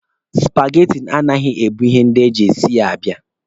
Supageti anaghị ebu ihe ndị e ji e si ya abịa